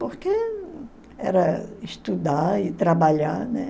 Porque era estudar e trabalhar, né?